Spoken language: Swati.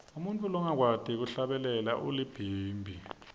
umuntfu longakwati kuhlabela ulibhimbi